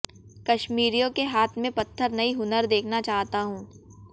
कश्मीरियों के हाथ में पत्थर नहीं हुनर देखना चाहता हूं